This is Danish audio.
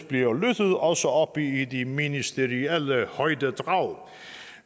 bliver lyttet også oppe i de ministerielle højdedrag